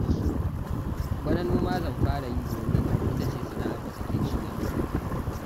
Bana noma zan fara yi domin ita ce sana'ar da take ci yanzu